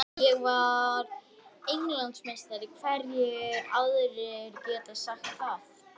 Beð allt í kringum þau þakin blómskrúði.